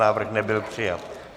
Návrh nebyl přijat.